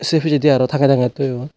sey pijendi aro tange tange toyon.